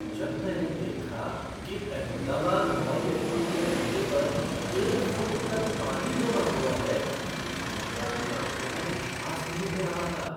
जब मैंने देखा कि अहमदाबाद हवाई अड्डे के रनवे पर एक फ़ुट तक पानी जमा हुआ है तो मुझे अपनी आँखों पर विश्वास नहीं हो रहा था।